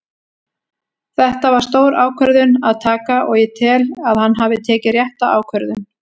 Þetta var stór ákvörðun að taka og ég tel að hann hafi tekið rétta ákvörðun.